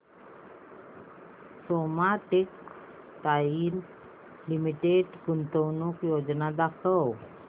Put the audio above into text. Soma textile limited गुंतवणूक योजना दाखव